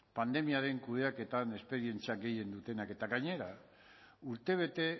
pandemiaren kudeaketan esperientzia gehien dutenak eta gainera urtebete